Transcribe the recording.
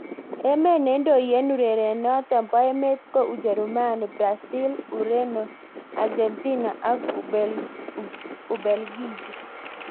Emet neindoi eng urerionotok bo emet ko Ujerumani, Brazil, Ureno, Argentina ak Ubelgiji.